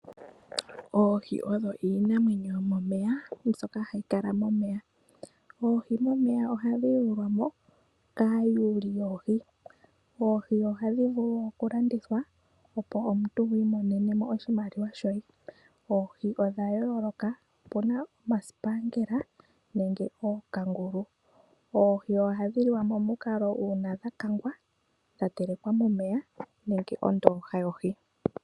Oohi odho iinamwenyo yomomeya mbyoka hayi kala momeya. Oohi momeya ohadhi yulwa mo kaayuli yoohi. Oohi ohadhi vulu okulandithwa opo omuntu iimonene mo oshimaliwa. Oohi odha yooloka opuna omasipangela nookangulu. Oohi ohadhi liwa uuna dhakangwa, dhatelekwa momeya nenge mondooha.